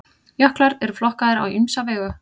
jöklar eru flokkaðir á ýmsa vegu